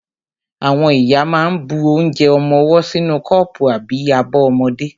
Àwọn ìyá ma ń bu onje ọmọwọ́ sínú kọ́pù àbí abọ́ ọmọdé.